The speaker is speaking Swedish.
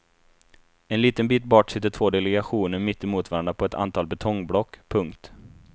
En liten bit bort sitter två delegationer mitt emot varandra på ett antal betongblock. punkt